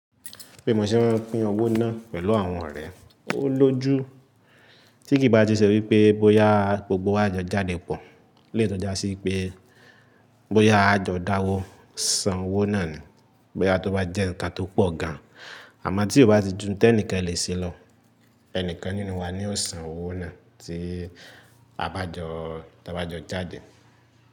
Pé mo ṣe ń pín owó náà pẹ̀lú àwọn ọ̀rẹ́, ó lójú tí kì í bá ti ṣẹ̀ wípé bóyá gbogbo wa jo jáde pọ̀ lè tọ́já sí pé bóyá àjọ̀ dáwó san owó náà ni. Bóyá tó bá jẹ́ nǹkan tó pọ̀ gan, àmọ́ tí kò bá ti ju n tẹ́ ǹkan lè ṣẹlọ. Ẹnìkan nínú wa ni ó san owó náà tí a bá jọ tọ́ bá jọ jáde.